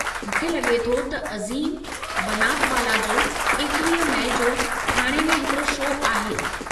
मूंखे लॻे थो त अज़ीम बनातवाला जो 21 मई जो ठाणे में हिकड़ो शो आहे।